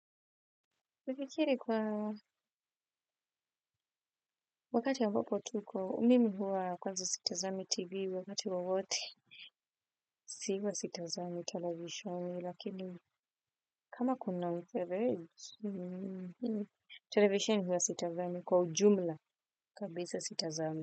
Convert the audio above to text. Nafikiri kwa wakati ambapo tuko, mimi huwa kwanza sitazami tv wakati wowote, huwa sitazami televisheni, lakini kama kuna televisheni huwa sitazami kwa ujumla, kabisa sitazami.